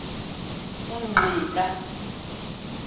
ungqika